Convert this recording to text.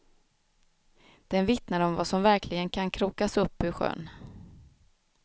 Den vittnar om vad som verkligen kan krokas upp ur sjön.